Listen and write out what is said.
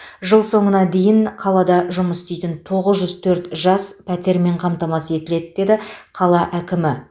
жыл соңына дейін қалада жұмыс істейтін тоғыз жүз төрт жас пәтермен қамтамасыз етіледі деді қала әкімі